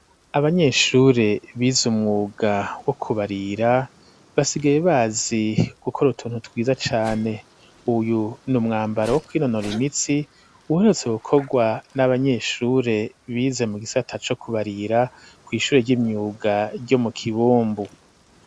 Abanyeshure bize umwuga wo kubarira basigaye bazi gukora utuntu twiza cane uyu ni umwambaro wo kwinonora imitsi uherutse gukogwa n'abanyeshure bize mu gisata co kubarira ku ishure ry'imyuga ryo mu kibumbu.